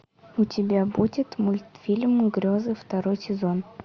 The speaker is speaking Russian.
у тебя будет мультфильм грезы второй сезон